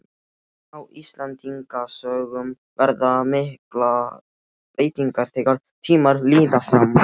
En á Íslendingasögum verða miklar breytingar þegar tímar líða fram.